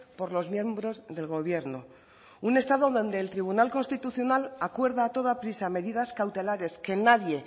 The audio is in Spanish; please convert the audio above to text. por los miembros del gobierno un estado donde el tribunal constitucional acuerda a toda prisa medidas cautelares que nadie